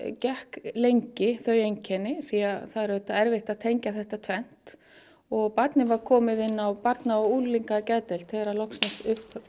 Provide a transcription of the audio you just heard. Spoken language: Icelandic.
gekk lengi þau einkenni því að það er auðvitað erfitt að tengja þetta tvennt og barnið var komið inn á Barna og unglingageðdeild þegar loksins